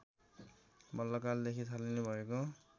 मल्लकालदेखि थालनी भएको